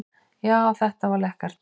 Jú, þetta var lekkert.